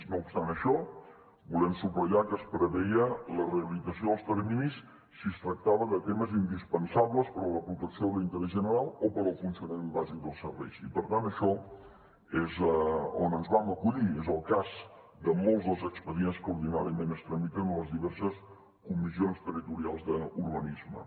no obstant això volem subratllar que es preveia la realització dels terminis si es tractava de temes indispensables per a la protecció de l’interès general o per al funcionament bàsic dels serveis i per tant en això és on ens vam acollir és el cas de molts dels expedients que ordinàriament es tramiten a les diverses comissions territorials d’urbanisme